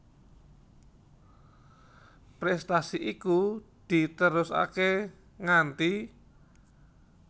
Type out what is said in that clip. Prestasi iku diterusake nganti